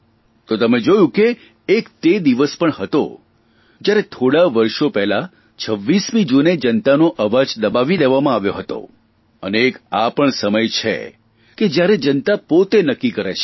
તો તમે જોયું કે એક તે દિવસ પણ હતો જયારે થોડાં વર્ષો પહેલાં 26મી જૂને જનતાનો અવાજ દબાવી દેવામાં આવ્યો હતો અને એક આ પણ સમય છે કે જયારે જનતા પોતે નક્કી કરે છે